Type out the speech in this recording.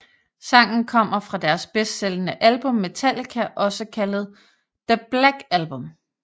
Sangen kommer fra deres bedstsælgende album Metallica også kaldet The Black Album